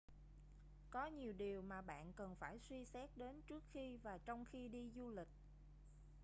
có nhiều điều mà bạn cần phải suy xét đến trước khi và trong khi đi du lịch